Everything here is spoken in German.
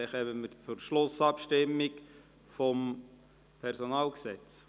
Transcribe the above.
Dann kommen wir zur Schlussabstimmung betreffend das PG.